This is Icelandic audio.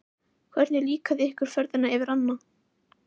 Hvernig líkaði ykkur ferðin yfir ánna?